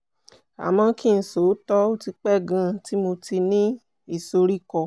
àmọ́ kí n sòótọ́ ó ti pẹ́ gan-an tí mo ti ní ìsoríkọ́